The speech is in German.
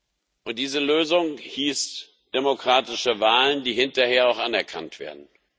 Und diese Lösung hieß demokratische Wahlen, die hinterher auch anerkannt werden.